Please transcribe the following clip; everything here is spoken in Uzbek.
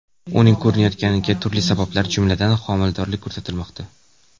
Uning ko‘rinmayotganiga turli sabablar, jumladan, homiladorlik ko‘rsatilmoqda.